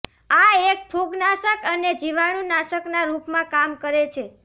આ એક ફુગનાશક અને જીવાણુનાશકના રૂપમાં કામ કરે છે